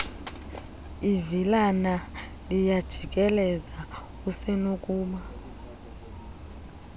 ivilana liyajikeleza usenokuba